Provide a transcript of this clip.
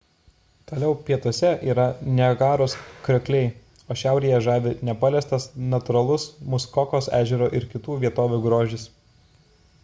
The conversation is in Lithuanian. toliau pietuose yra niagaros kriokliai o šiaurėje žavi nepaliestas natūralus muskokos ežero ir kitų vietovių grožis